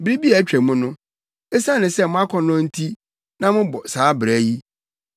Bere bi a atwam no, esiane mo akɔnnɔ nti na mobɔ saa bra yi.